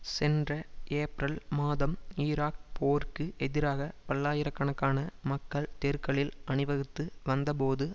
சென்ற ஏப்ரல் மாதம் ஈராக் போருக்கு எதிராக பல்லாயிர கணக்கான மக்கள் தெருக்களில் அணிவகுத்து வந்தபோது